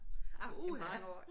Ja uha